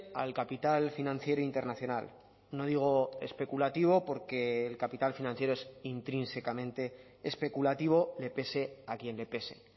al capital financiero internacional no digo especulativo porque el capital financiero es intrínsecamente especulativo le pese a quien le pese